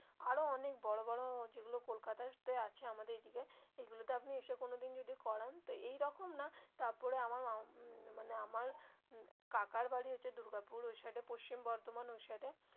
আরো অনেক বড়ো বড়ো যেগুলো কলকাতা তে আছে আমাদের দিকে এগুলোতে আপনি এসে কোনোদিন যদি করান তো এইরকম না তারপরে আমার মানে আমার কাকার বাড়ি হচ্ছে দুর্গাপুর ওই সাইড এ পশ্চিম বর্ধমান ওই সাইড এ.